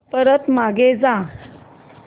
परत मागे जा